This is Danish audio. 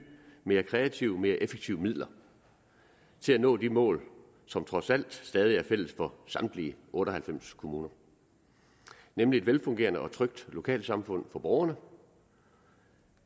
mere kreative og mere effektive midler til at nå de mål som trods alt stadig væk er fælles for samtlige otte og halvfems kommuner nemlig et velfungerende og trygt lokalsamfund for borgerne